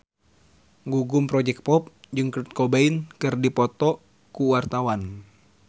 Gugum Project Pop jeung Kurt Cobain keur dipoto ku wartawan